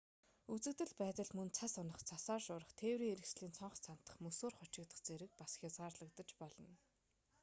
үзэгдэл байдал мөн цас унах цасаар шуурах тээврийн хэрэгслийн цонх цантах мөсөөр хучигдах зэргээр бас хязгаарлагдаж болно